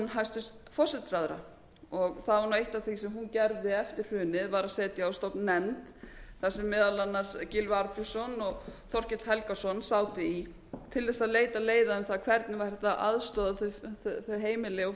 hæstvirtum forsætisráðherra það var nú eitt af því sem hún gerði eftir hrunið var að setja á stofn nefnd þar sem meðal annars gylfi arnbjörnsson og þorkell helgason sátu í til þess að leita leiða hvernig væri hægt að aðstoða þau heimili og